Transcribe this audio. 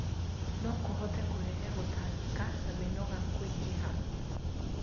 No kũhote kũrehe gũtangĩka na mĩnoga kũingĩha